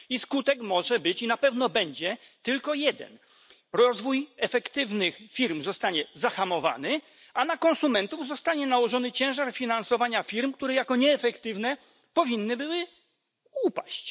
Skutek tego może być i na pewno będzie tylko jeden rozwój efektywnych firm zostanie zahamowany, a na konsumentów zostanie nałożony ciężar finansowania firm, które jako nieefektywne powinny były upaść.